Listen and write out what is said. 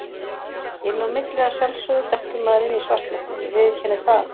Inn á milli að sjálfsögðu dettur maður inn í svartnættið, ég viðurkenni það alveg.